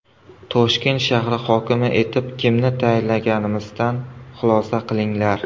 Toshkent shahri hokimi etib kimni tayinlaganimizdan xulosa qilinglar.